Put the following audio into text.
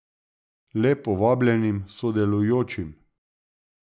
Le povabljenim sodelujočim.